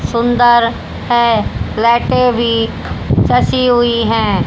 सुंदर हैं लाइटें भीं ससी हुई हैं।